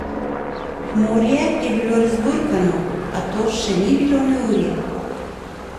Morje je bilo razburkano, a to še ni bilo neurje.